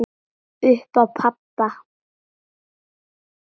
Upp á pabba.